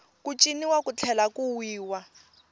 ku ciniwa ku tlhela ku wiwa